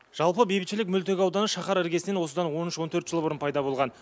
жалпы бейбітшілік мөлтек ауданы шаһар іргесінен осыдан он үш он төрт жыл бұрын пайда болған